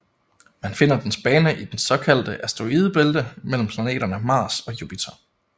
Man finder dens bane i det såkaldte asteroidebælte mellem planeterne Mars og Jupiter